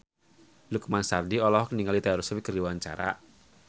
Lukman Sardi olohok ningali Taylor Swift keur diwawancara